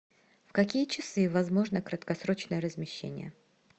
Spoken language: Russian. в какие часы возможно краткосрочное размещение